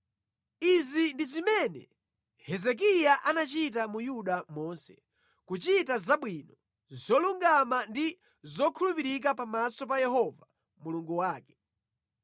Izi ndi zimene Hezekiya anachita mu Yuda monse, kuchita zabwino, zolungama ndi zokhulupirika pamaso pa Yehova Mulungu wake.